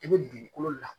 I bɛ dugukolo la